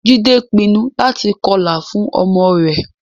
Jide pinnu láti kọlà fún ọmọ rẹ̀